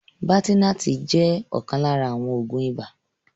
Baltenart jẹ́ ọ̀kan lára àwọn Oògún ibà